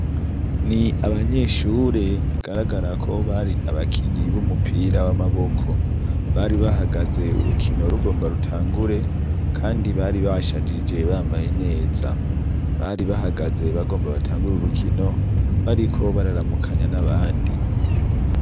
Ni abanyeshure bigaragara ko bari abakinyi bumupira w'amaboko bari bahagaze urukiko rugomba rutanĝure kandi bari bashajije bamabaye neza bari bahagaze bagomba batangure urukino bariko bararamukanya n'abandi.